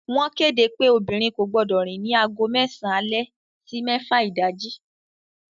Wọ́n kéde pé obìnrin kò gbọdọ̀ rìn ní aago mẹ́sàn alẹ́ sí mẹ́fà ìdájí